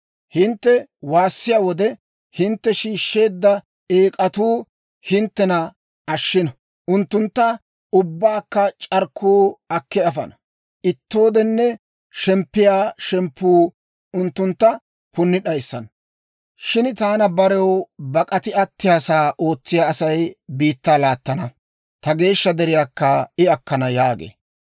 Hintte waassiyaa wode, hintte shiishsheedda eek'atuu hinttena ashshino! Unttuntta ubbaakka c'arkkuu akki afana; ittooden shemppiyaa shemppuu unttuntta punni d'ayissana. Shin taana barew bak'ati attiyaasaa ootsiyaa Asay biittaa laattana; ta geeshsha deriyaakka I akkana» yaagee.